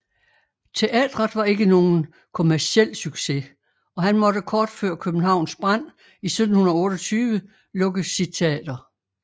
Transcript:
Teatret var ikke nogen kommerciel succes og han måtte kort før Københavns brand i 1728 lukke sit teater